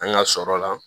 An ka sɔrɔ la